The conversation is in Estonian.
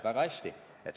Väga hea!